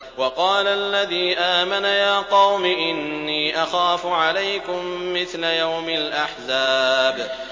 وَقَالَ الَّذِي آمَنَ يَا قَوْمِ إِنِّي أَخَافُ عَلَيْكُم مِّثْلَ يَوْمِ الْأَحْزَابِ